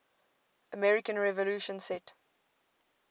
american revolution set